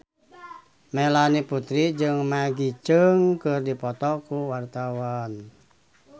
Melanie Putri jeung Maggie Cheung keur dipoto ku wartawan